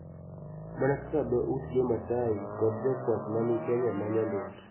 Mana kaka dho ut Jo-Maasai kod jokwath ma ni Kenya ma nyandwat�